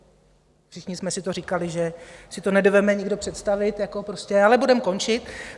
Všichni jsme si to říkali, že si to nedovede nikdo představit, ale budeme končit.